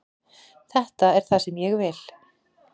Þetta er það sem ég vil.